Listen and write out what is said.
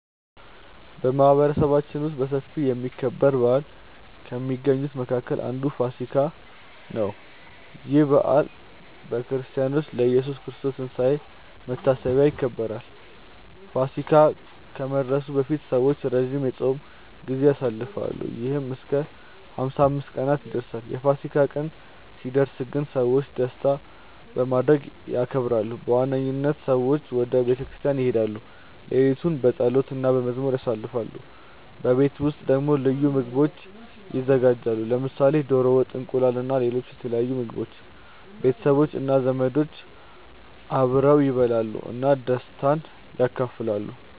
በማህበረሰባችን ውስጥ በሰፊ የሚከበር በዓል ከሚገኙት መካከል አንዱ ፋሲካ (ኢስተር) ነው። ይህ በዓል በክርስቲያኖች ለኢየሱስ ክርስቶስ ትንሳኤ መታሰቢያ ይከበራል። ፋሲካ ከመድረሱ በፊት ሰዎች ረጅም የጾም ጊዜ ያሳልፋሉ፣ ይህም እስከ 55 ቀናት ይደርሳል። የፋሲካ ቀን ሲደርስ ግን ሰዎች ደስታ በማድረግ ያከብራሉ። በዋነኝነት ሰዎች ወደ ቤተ ክርስቲያን ይሄዳሉ፣ ሌሊቱን በጸሎት እና በመዝሙር ያሳልፋሉ። በቤት ውስጥ ደግሞ ልዩ ምግቦች ይዘጋጃሉ፣ ለምሳሌ ዶሮ ወጥ፣ እንቁላል እና ሌሎች የተለያዩ ምግቦች። ቤተሰቦች እና ዘመዶች አብረው ይበላሉ እና ደስታን ይካፈላሉ።